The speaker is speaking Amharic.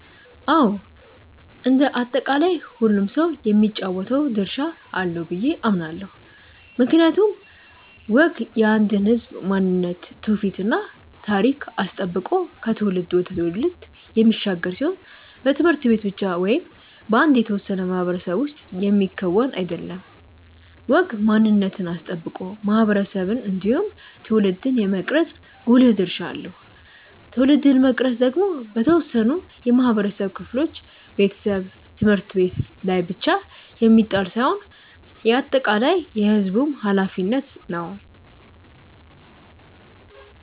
አዎ እንደ አጠቃላይ ሁሉም ሰው የሚጫወተው ድርሻ አለው ብዬ አምናለው። ምክንያቱም ወግ የአንድን ህዝብ ማንነት ትውፊት እና ታሪክ አስጠብቆ ከትውልድ ወደ ትውልድ የሚሻገር ሲሆን በት/ቤት ብቻ ወይም በአንድ የተወሰነ ማህበረሰብ ውስጥ የሚከወን አይደለም። ወግ ማንነትን አስጠብቆ ማህበረሰብን እንዲሁም ትውልድን የመቅረጽ ጉልህ ድርሻ አለው። ትውልድን መቅረጽ ደግሞ በተወሰኑ የማህበረሰብ ክፍሎች (ቤተሰብ፣ ት/ቤት) ላይ ብቻ የሚጣል ሳይሆን የአጠቃላይ የህዝቡም ኃላፊነት ነው።